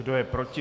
Kdo je proti?